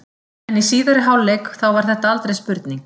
En í síðari hálfleik þá var þetta aldrei spurning.